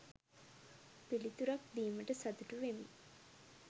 පිළිතුරක් දීමට සතුටු වෙමි.